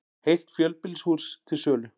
Heilt fjölbýlishús til sölu